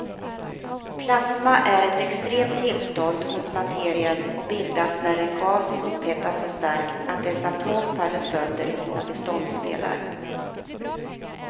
Plasma är ett extremt tillstånd hos materien och bildas när en gas upphettas så starkt att dess atomer faller sönder i sina beståndsdelar.